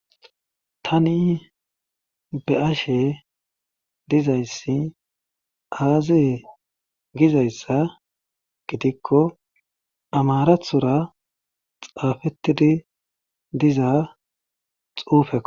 Tani be'ashe dizayssi aaziye gizayssa gidikko amaraththora xaafettidi diza xuufekko